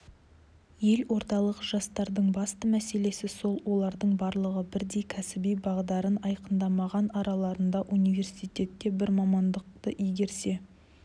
елордалық жастардың басты мәселесі сол олардың барлығы бірдей кәсіби бағдарын айқындамаған араларында университетте бір мамандықты игерсе